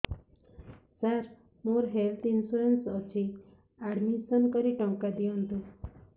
ସାର ମୋର health insurance ଅଛି admission କରି ଟଙ୍କା ଦିଅନ୍ତୁ